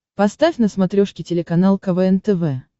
поставь на смотрешке телеканал квн тв